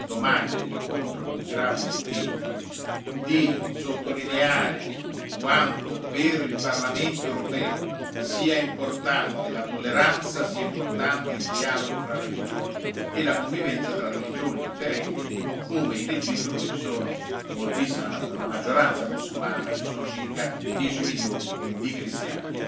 Preda, domani nell'incontro con il Gran Muftì, di sottolineare quanto per il Parlamento europeo sia importante la tolleranza e siano importanti il dialogo fra religioni e la convivenza tra religioni differenti, come in Egitto dove la maggioranza è mussulmana ma ci sono circa 10 milioni di cristiani.